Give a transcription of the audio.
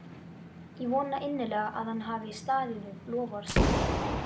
Ég vona innilega að hann hafi staðið við loforð sitt.